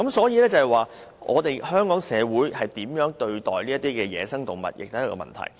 由此可見，香港社會如何對待野生動物，也是一個問題。